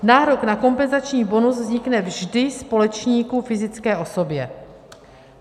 Nárok na kompenzační bonus vznikne vždy společníku - fyzické osobě.